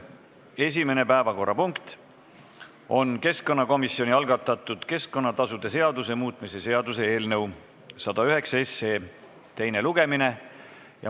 Esimene päevakorrapunkt on keskkonnakomisjoni algatatud keskkonnatasude seaduse muutmise seaduse eelnõu 109 teine lugemine.